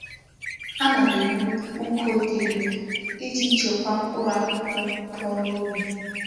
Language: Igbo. Ana m ewu uko di elu Iji chekwa mkpuru akuku puo noyi.